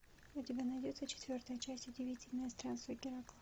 у тебя найдется четвертая часть удивительные странствия геракла